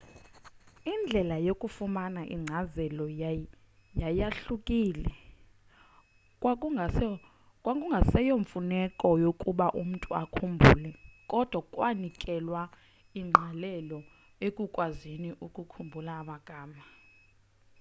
indlela yokufumana inkcazelo yayahlukile kwakungaseyo mfuneko yokuba umntu akhumbule kodwa kwanikelwa ingqalelo ekukwazini ukukhumbula amagama